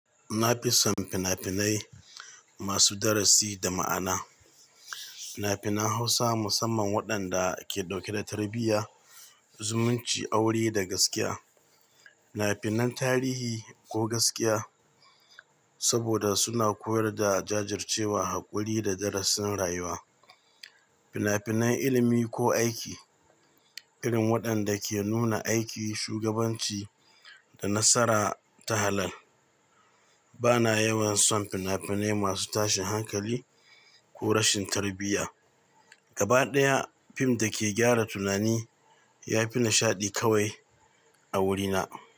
Na fi son fina-finai masu darasi da ma'ana. Fina-finan Hausa musamman waɗanda ke ɗauke da tarbiyya, zumunci, aure da gaskiya. Fina-finan tarihi ko gaskiya saboda suna koyar da jajircewa, haƙuri da darasin rayuwa. Fina-finan ilimi ko aiki irin waɗanda ke nuna aiki, shugabanci da nasara ta halal. Bana yawan son fina-finai masu tashin hankali ko rashin tarbiyya. Gaba ɗaya fim da ke gyara tunani ya fi nishaɗi kawai a wurina.